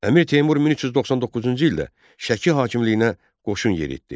Əmir Teymur 1399-cu ildə Şəki hakimliyinə qoşun yeritdi.